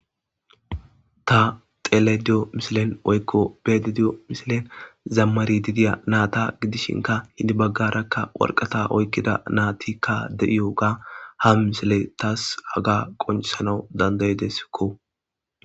Ta xelediyo misilen oykko bedediyo misilen zammari didiya naata gidishinka hidi baggarakka warqata oykkida naatikka de7iyo ga ha misile taas haga qoncisanau dandayideskko.